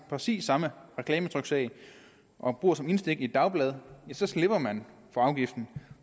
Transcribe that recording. præcis samme reklametryksag og bruger som indstik i et dagblad så slipper man for afgiften